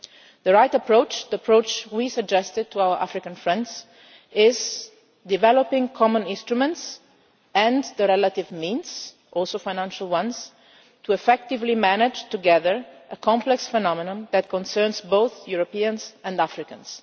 The right approach the approach we suggested to our African friends is to develop common instruments and the related means, including financial ones, to effectively manage together a complex phenomenon that concerns both Europeans and Africans.